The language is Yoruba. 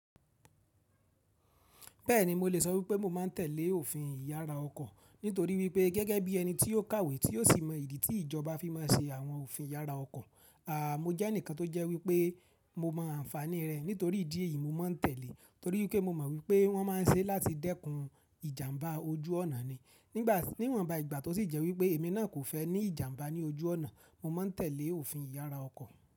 Bẹ́ẹ̀ni, mo lè sọ wípé mo máa ń tẹ̀lé òfin ìyára ọkọ̀ nítorí wípé gẹ́gẹ́ bí ẹni tí ó kàwé tí ò sì mọ ìdí tí ìjọba fi máa ṣe àwọn òfin ìyára ọkọ̀. Mo jẹ́ ẹnìkan tó jẹ́ wípé mo mọ àǹfàní rẹ̀, nítorí ìdí èyí mo máa ń tẹ̀lé. Torí wípé mo mọ̀ wípé wọ́n máa ń ṣe láti dẹ́kun ìjàmbá ojú ọ̀nà ni. Nígba ìwọnba ìgbà tí ó sì jẹ́ wípé èmi náà kò fẹ́ ní ìjàmbá ní ojú ọ̀nà, mo máa ń tẹ̀lé òfin ìyára ọkọ̀.